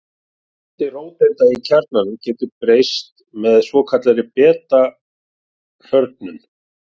Fjöldi róteinda í kjarnanum getur svo breyst með svokallaðri beta-hrörnun.